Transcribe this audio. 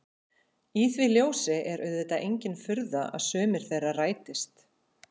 Í því ljósi er auðvitað engin furða að sumir þeirra rætist.